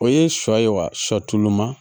O ye sɔ ye wa sɔ tulu ma